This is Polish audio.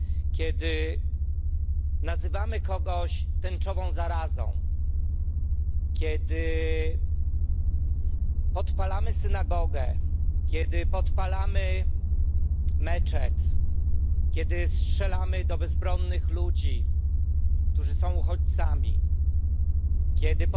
Kiedy nazywamy kogoś tęczową zarazą, kiedy podpalamy synagogę, kiedy podpalamy meczet, kiedy strzelamy do bezbronnych ludzi, którzy są uchodźcami, kiedy